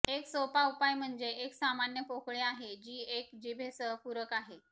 एक सोपा उपाय म्हणजे एक सामान्य पोकळी आहे जी एक जिभेसह पूरक आहे